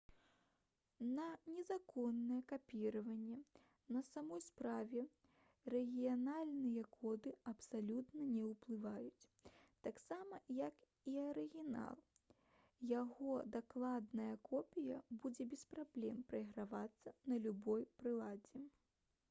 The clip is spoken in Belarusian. на незаконнае капіраванне на самой справе рэгіянальныя коды абсалютна не ўплываюць гэтаксама як і арыгінал яго дакладная копія будзе без праблем прайгравацца на любой прыладзе